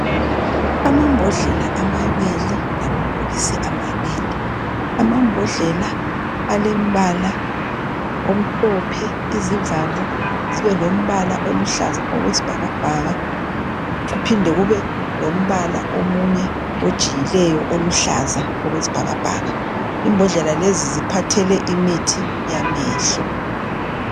Amambodlela amabili lamabhokisi amabili. Amambodlela alembala omhlophe izivalo zibelombala oluhlaza okwesibhakabhaka kuphinde kube lombala omunye ojiyileyo oluhlaza okwesibhakabhaka. Imbodlela lezi ziphathele imithi yamehlo.